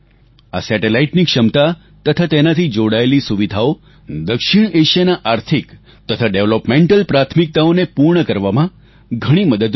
આ Satelliteની ક્ષમતા તથા તેનાથી જોડાયેલી સુવિધાઓ દક્ષિણએશિયાના આર્થિક તથા ડેવલપમેન્ટલ પ્રાથમિકતાઓને પૂર્ણ કરવામાં ઘણી મદદરૂપ થશે